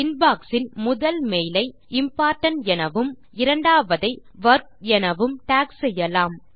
inbox இன் முதல் மெய்லை இம்போர்டன்ட் எனவும் இரண்டாவ்தை வொர்க் எனவும் டாக் செய்யலாம்